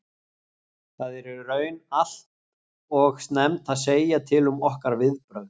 Það er í raun allt og snemmt að segja til um okkar viðbrögð.